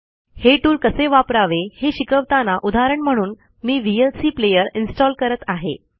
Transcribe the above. हे टूल कसे वापरावे हे शिकवताना उदाहरण म्हणून मी व्हीएलसीप्लेअर इन्स्टॉल करत आहे